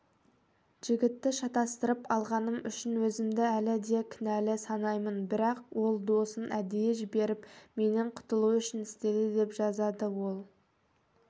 жігітті шатастырып алғаным үшін өзімді әлі де кінәлі санаймын бірақ ол досын әдейі жіберіп менен құтылу үшін істеді деп жазады ол